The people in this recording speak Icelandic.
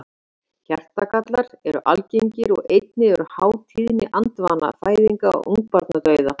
Hjartagallar eru algengir og einnig er há tíðni andvana fæðinga og ungbarnadauða.